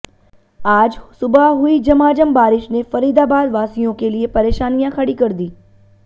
आज सुबह हुई झमाझम बारिश ने फरीदाबाद वासियों के लिए परेशानियां खडी कर दी